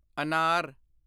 ਅਨਾਰ